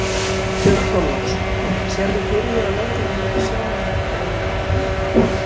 Björn Þorláksson: Sérðu fyrir þér að lögreglan myndi sjá um þetta eða einhver önnur deild?